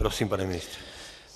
Prosím, pane ministře.